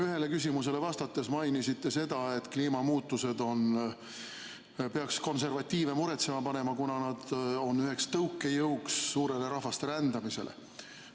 Ühele küsimusele vastates mainisite seda, et kliimamuutused peaks konservatiive muretsema panema, kuna nad on üheks tõukejõuks suurele rahvaste rändamisele.